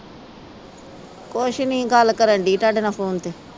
ਕੁਛ ਨਹੀਂ ਗੱਲ ਕਰਨ ਦੀ ਤੁਹਾਡੇ ਨਾ ਫੋਨ ਤੇ